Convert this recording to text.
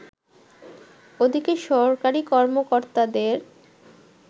ওদিকে সরকারী কর্মকর্তাদের